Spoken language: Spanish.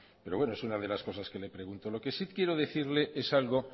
pero bueno es una de las cosas que le pregunto lo que sí quiero decirle es algo